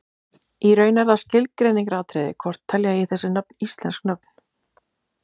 í raun er það skilgreiningaratriði hvort telja eigi þessi nöfn íslensk nöfn